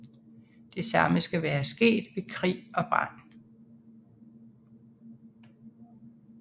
Det samme skal være sket ved krig og brand